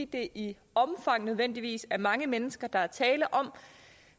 det i omfang nødvendigvis er mange mennesker der er tale om